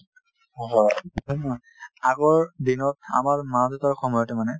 নে নহয় আগৰ দিনত আমাৰ মা-দেউতাৰ সময়তে মানে